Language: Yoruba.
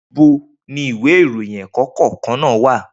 Nibo ni ìwé ìròyìn ẹ́ẹ́kọ̀kkan naa wa?